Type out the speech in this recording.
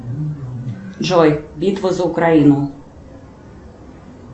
джой битва за украину